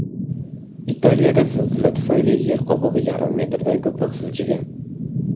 Italiyada zilzila tufayli yer qobig‘i yarim metrdan ko‘proq siljigan.